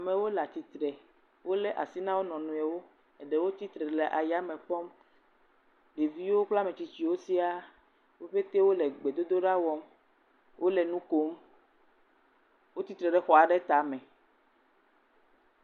Amewo le atsitre, wolé asi na wo nɔewo, eɖewo tsitre le ayame kpɔm, ɖeviwo kple ametsitsiwo wo petee wole gbedodoɖa wɔm, wole nu kom, wotsitre ɖe xɔ aɖe tame.